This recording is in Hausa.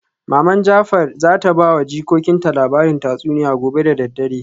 Maman jafar zata bawa jikokinta labarin tatsuniya gobe da daddare